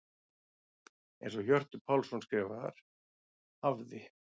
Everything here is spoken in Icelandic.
Eins og Hjörtur Pálsson skrifar: Hafði.